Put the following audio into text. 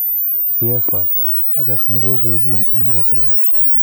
UEFA: Ajax ne kobey Lyon en Europa Ligi.